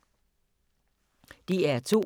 DR2